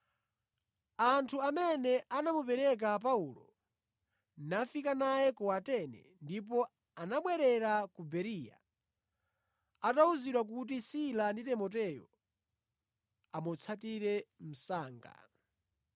Anthu amene anamuperekeza Paulo nafika naye ku Atene, ndipo anabwerera ku Bereya atawuzidwa kuti Sila ndi Timoteyo amutsatire msanga.